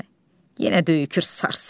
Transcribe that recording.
Yenə döyükür sarsaq gözlərin.